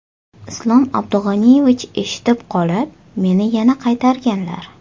Islom Abdug‘aniyevich eshitib qolib, meni yana qaytarganlar.